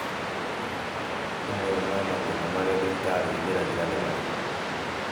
Mamwe ma mathĩna marĩa thibitarĩ igeragĩra nĩ marĩkũ?